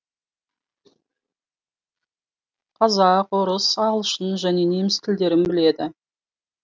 қазақ орыс ағылшын және неміс тілдерін біледі